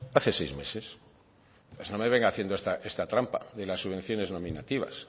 hace seis meses no me venga haciendo esta trampa de las subvenciones nominativas